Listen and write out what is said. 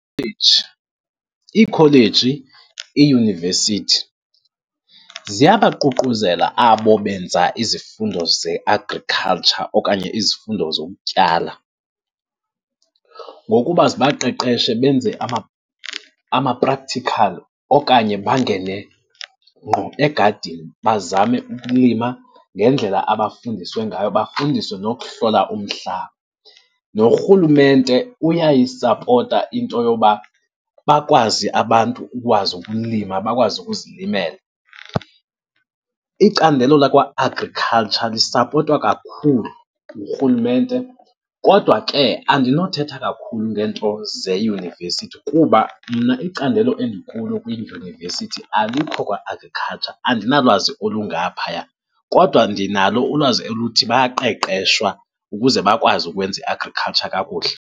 Iikholeji, iiyunivesithi ziyabaququzela abo benza izifundo ze-agriculture okanye izifundo zokutyala ngokuba zibaqeqeshe benze ama-practical okanye bangene ngqo egadini bazame ukulima ngendlela abafundiswe ngayo. Bafundiswe nokuhlola umhlaba, norhulumente uyayisapota into yoba bakwazi abantu ukwazi ukulima, bakwazi ukuzilimela. Icandelo lakwa-agriculture lisapotwa kakhulu ngurhulumente, kodwa ke andinothetha kakhulu ngento zeyunivesithi kuba mna icandelo endikulo kwidyunivesithi alikho kwa-agriculture, andinalwazi olungaphaya. Kodwa ndinalo ulwazi oluthi bayaqeqeshwa ukuze bakwazi ukwenza i-agriculture kakuhle.